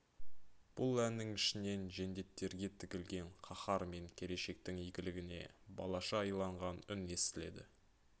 бұл әннің ішінен жендеттерге тігілген қаһар мен келешектің игілігіне балаша иланған үн естіледі